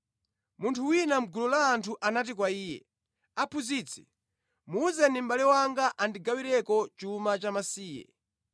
Munthu wina mʼgulu la anthu anati kwa Iye, “Aphunzitsi, muwuzeni mʼbale wanga andigawireko chuma chamasiye.”